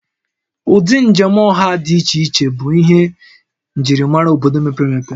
Ụdị njem ọha dị iche iche bụ ihe njirimara obodo mepere emepe